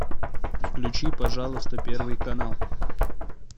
включи пожалуйста первый канал